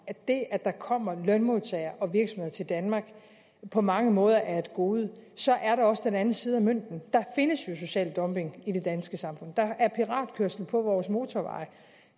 det at der kommer lønmodtagere og virksomheder til danmark på mange måder er et gode så er der også den anden side af mønten der findes jo social dumping i det danske samfund der er piratkørsel på vores motorveje